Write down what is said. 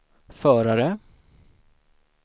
förare